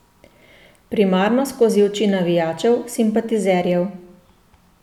Primarno skozi oči navijačev, simpatizerjev.